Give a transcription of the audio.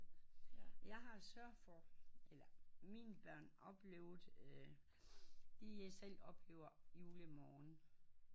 Jeg har sørget for eller mine børn oplevet øh de er selv oplever jule morgen